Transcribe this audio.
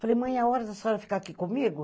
Falei, mãe, é a hora da senhora ficar aqui comigo?